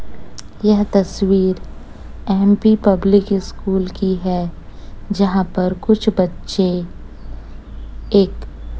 यह तस्वीर MP public school की है जहां पर कुछ बच्चे एक--